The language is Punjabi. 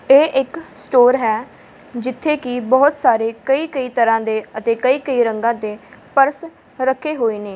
ਇਹ ਇੱਕ ਸਟੋਰ ਹੈ ਜਿੱਥੇ ਕੀ ਬਹੁਤ ਸਾਰੇ ਕਈ ਕਈ ਤਰ੍ਹਾਂ ਦੇ ਅਤੇ ਕਈ ਕਈ ਰੰਗਾਂ ਦੇ ਪਰਸ ਰੱਖੇ ਹੋਏ ਨੇ।